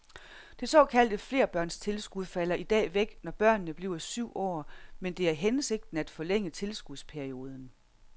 Det såkaldte flerbørnstilskud falder i dag væk, når børnene bliver syv år, men det er hensigten at forlænge tilskudsperioden.